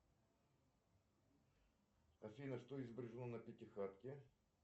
афина что изображено на пятихатке